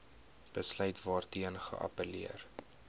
besluit waarteen geappelleer